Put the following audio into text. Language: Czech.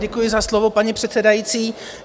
Děkuji za slovo, paní předsedající.